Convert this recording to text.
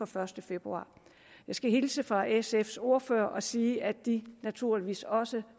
første februar jeg skal hilse fra sfs ordfører og sige at de naturligvis også